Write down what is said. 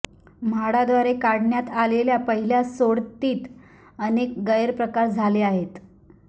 म्हाडाद्वारे काढण्यात आलेल्या पहिल्या सोडतीत अनेक गैरप्रकार झाले आहेत